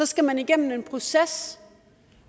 skal man igennem en proces